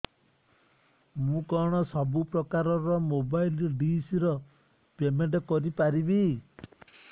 ମୁ କଣ ସବୁ ପ୍ରକାର ର ମୋବାଇଲ୍ ଡିସ୍ ର ପେମେଣ୍ଟ କରି ପାରିବି